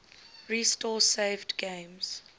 restore saved games